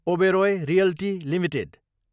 Oberoi realty Ltd